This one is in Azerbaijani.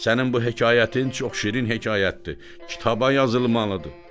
Sənin bu hekayətin çox şirin hekayətdir, kitaba yazılmalıdır.